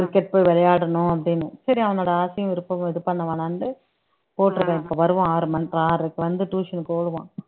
cricket போய் விளையாடணும் அப்படின்னு சரி அவனோட ஆசையும் விருப்பமும் இது பண்ண வேணாம்னுட்டு போட்டிருக்கேன் இப்ப வருவான் ஆறு ம ஆறரைக்கு வந்து tuition க்கு ஓடுவான்